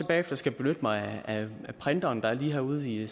bagefter skal benytte mig af printeren der er lige herude i